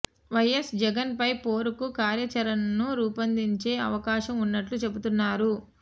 YS Jagan పై పోరుకు కార్యాచరణను రూపొందించే అవకాశం ఉన్నట్లు చెబుతున్నారు